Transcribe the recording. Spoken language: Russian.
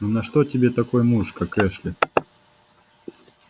ну на что тебе такой муж как эшли